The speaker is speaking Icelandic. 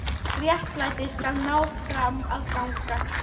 Réttlætið skal ná fram að ganga.